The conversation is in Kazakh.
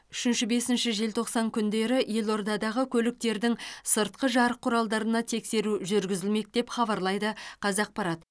үшінші бесінші желтоқсан күндері елордадағы көліктердің сыртқы жарық құралдарына тексеру жүргізілмек деп хабарлайды қазақпарат